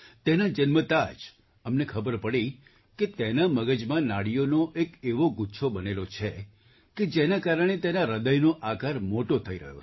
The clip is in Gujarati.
તેના જન્મતાં જ અમને ખબર પડી કે તેના મગજમાં નાડીઓનો એક એવો ગુચ્છો બનેલો છે કે જેના કારણે તેના હૃદયનો આકાર મોટો થઈ રહ્યો છે